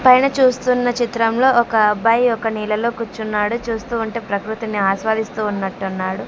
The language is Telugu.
పైన చూస్తున్న చిత్రంలో ఒక అబ్బాయి ఒక నీళ్లలో కూర్చున్నాడు చూస్తూ ఉంటే ప్రకృతిని ఆస్వాదిస్తూ ఉన్నట్టున్నాడు.